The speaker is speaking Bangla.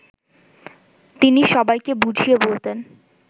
তিনি সবাইকে বুঝিয়ে বলতেন